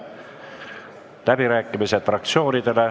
Fraktsioonide läbirääkimised.